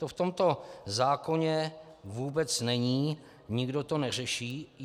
To v tomto zákoně vůbec není, nikdo to neřeší.